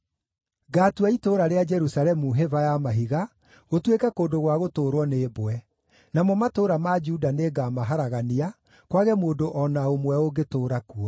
“Ngaatua itũũra rĩa Jerusalemu hĩba ya mahiga, gũtuĩke kũndũ gwa gũtũũrwo nĩ mbwe; namo matũũra ma Juda nĩngamaharagania, kwage mũndũ o na ũmwe ũngĩtũũra kuo.”